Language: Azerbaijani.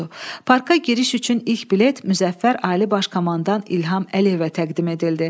Parka giriş üçün ilk bilet Müzəffər Ali Baş Komandan İlham Əliyevə təqdim edildi.